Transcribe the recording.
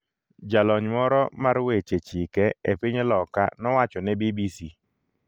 Jalony moro mar weche chike e piny loka nowacho ne BBC .